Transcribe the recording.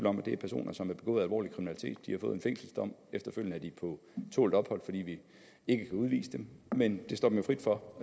om at det er personer som har begået alvorlig kriminalitet de har fået en fængselsdom efterfølgende er de på tålt ophold fordi vi ikke kan udvise dem men det står dem jo frit for